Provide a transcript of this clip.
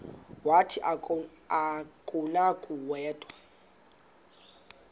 wathi akunakuya wedw